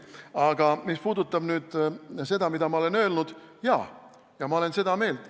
Aga mis puudutab nüüd seda, mida ma olen öelnud, siis jah, ma olen seda meelt.